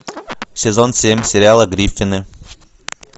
сезон семь сериала гриффины